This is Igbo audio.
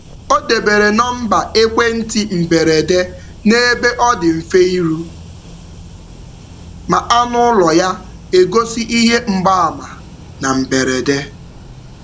Ọ debere nọmba ekwentị mberede n’ebe ọ dị mfe iru ma anụ ụlọ ya egosi ihe mgbaàmà na mberede.